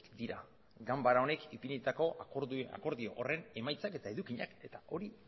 dira ganbara honek ipinitako akordio horren emaitzak eta edukiak eta hori